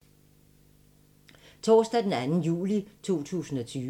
Torsdag d. 2. juli 2020